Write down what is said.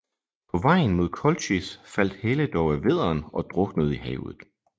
På vejen mod Kolchis faldt Helle dog af vædderen og druknede i havet